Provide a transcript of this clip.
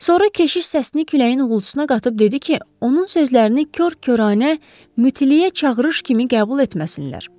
Sonra keşiş səsini küləyin uğultusuna qatıb dedi ki, onun sözlərini kor-koranə mütiliyə çağırış kimi qəbul etməsinlər.